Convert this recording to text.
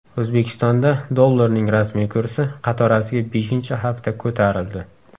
O‘zbekistonda dollarning rasmiy kursi qatorasiga beshinchi hafta ko‘tarildi.